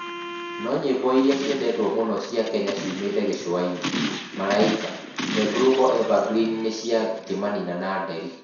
No nyĩmbo iria ciendetwo mũno cia Kenya ciumĩte gĩcũa-inĩ:Malaika, the global evergreen nĩ cia kĩmanina na Nderi.